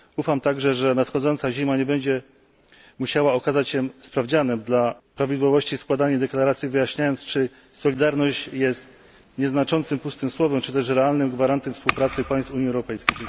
Ufam także, że nadchodząca zima nie będzie musiała okazać się sprawdzianem prawidłowości składania deklaracji, wyjaśniając, czy solidarność jest nieznaczącym, pustym słowem, czy też realnym gwarantem współpracy państw Unii Europejskiej.